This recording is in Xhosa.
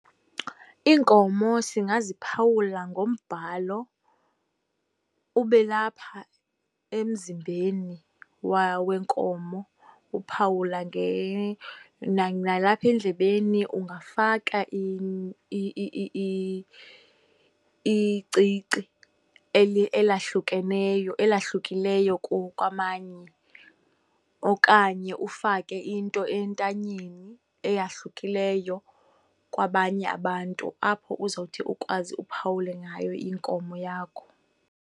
Iinkomo singaziphawula ngombhalo, ube lapha emzimbeni wenkomo. Uphawula , nalapha endlebeni ungafaka icici elahlukeneyo, elahlukileyo kwamanye okanye ufake into entanyeni eyahlukileyo kwabanye abantu apho uzothi ukwazi uphawule ngayo inkomo yakho.